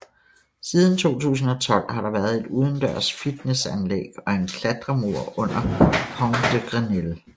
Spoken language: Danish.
Siden 2012 har der været et udendørs fitnessanlæg og en klatremur under Pont de Grenelle